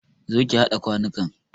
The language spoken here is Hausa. Zo ki haɗa kwanukan!